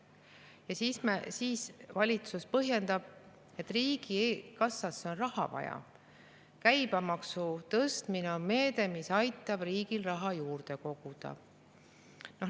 Ja siis valitsus põhjendab seda nii, et riigikassasse on raha vaja ja käibemaksu tõstmine on meede, mis aitab riigile raha juurde koguda.